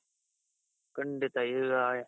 ಖಂಡಿತ ಈಗ